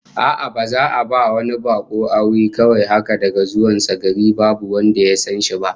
A'a, baza a ba wani bako aure kawai haka daga zuwan sa gari babu wanda ya san shi ba